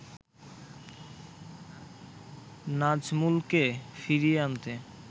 নাজমুলকে ফিরিয়ে আনতে